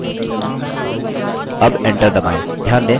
अब enter दबाएँ